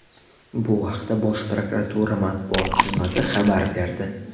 Bu haqda Bosh prokuratura matbuot xizmati xabar berdi .